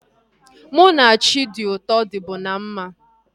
Mụ na Chidiuto dịbu na mma